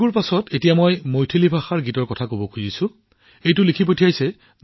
তেলেগুৰ পিছত মই এতিয়া আপোনাক মৈথিলীৰ এটা ক্লিপ শুনিবলৈ দিম